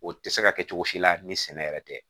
O tɛ se ka kɛ cogo si la ni sɛnɛ yɛrɛ tɛ